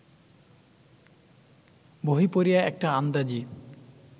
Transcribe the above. বহি পড়িয়া একটা আন্দাজি